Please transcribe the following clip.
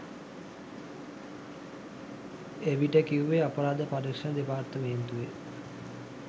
එවිට කිව්වේ අපරාධ පරීක්ෂණ දෙපාර්තමේන්තුවේ